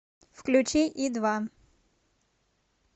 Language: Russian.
включи и два